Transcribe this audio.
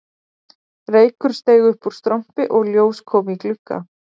Reykur steig upp úr strompi og ljós kom í glugga